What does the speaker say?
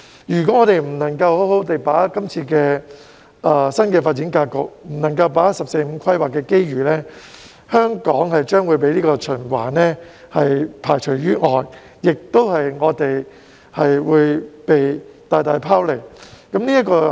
如果香港不能夠好好地把握今次的新發展格局，不能夠把握"十四五"規劃的機遇，香港將會被循環排除於外，亦會被大大拋離。